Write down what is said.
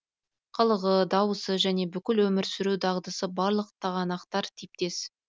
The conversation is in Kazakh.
қылығы дауысы және бүкіл өмір сүру дағдысы барлық тағанақтар типтес